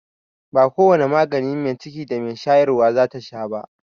Ba ko wane magani mai ciki da mai shayarwa zata sha ba.